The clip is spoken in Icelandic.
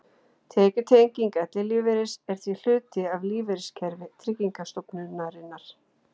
Tekjutenging ellilífeyris er því hluti af lífeyriskerfi Tryggingarstofnunar.